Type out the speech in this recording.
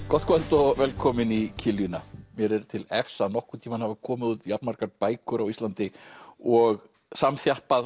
gott kvöld og velkomin í mér er til efs að nokkurn tímann hafi komið út jafn margar bækur á Íslandi og samþjappað